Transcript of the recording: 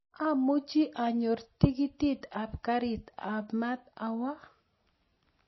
Amuchi anyor tikitit ap karit ap maat awo